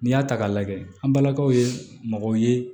N'i y'a ta k'a lajɛ an balakaw ye mɔgɔw ye